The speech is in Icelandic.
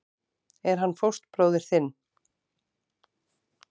Er hann fóstbróðir þinn?